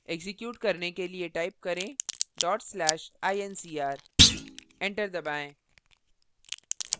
execute करने के लिए type करें/incr enter दबाएँ